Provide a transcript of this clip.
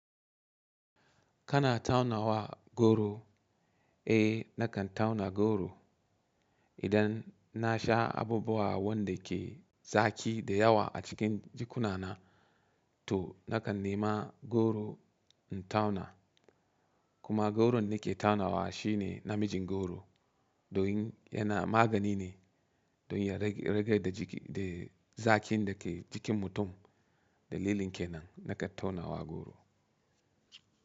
Kana taunawa goro? Eh nakan tauna goro. Idan na sha abubuwa wanda ke zaki da yawa a cikin jikuna na, to nakan nema goro in tauna. Kuma goron da ke taunawa shine namijin goro. Domin yana magani ne, domin ya rage zakin da ke jikin mutum. Dalilin kenan nakan tauna wa goro.